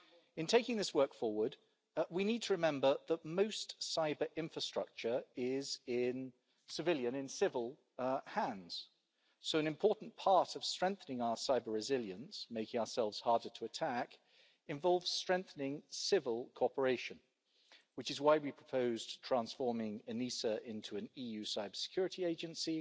In taking this work forward, we need to remember that most cyber-infrastructure is in civilian hands, so an important part of strengthening our cyber-resilience making ourselves harder to attack involves strengthening civil cooperation, which is why we proposed transforming ENISA into an EU cybersecurity agency